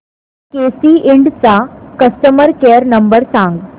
केसी इंड चा customer care number सांग